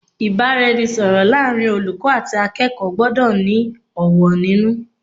Ìbáraẹnisọ̀rọ̀ láàrin olùkọ́ àti akẹ́kọ̀ọ́ gbọ́dọ̀ ní ọ̀wọ̀ nínú.